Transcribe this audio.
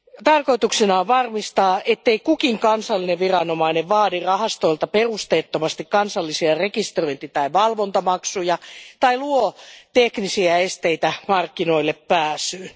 Tarkoituksena on varmistaa, ettei kukin kansallinen viranomainen vaadi rahastolta perusteettomasti kansallisia rekisteröinti tai valvontamaksuja tai luo teknisiä esteitä markkinoillepääsylle.